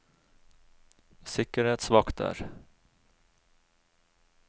sikkerhetsvakter